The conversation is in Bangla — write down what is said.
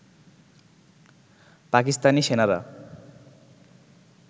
পাকিস্তানি সেনারা